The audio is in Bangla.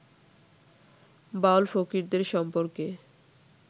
বাউল-ফকিরদের সম্পর্কে